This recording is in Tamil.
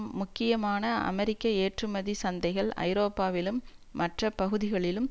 முக்கியமான அமெரிக்க ஏற்றுமதி சந்தைகள் ஐரோப்பாவிலும் மற்ற பகுதிகளிலும்